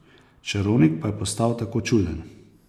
Čarovnik pa je postal tako čuden.